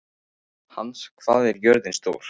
Hans, hvað er jörðin stór?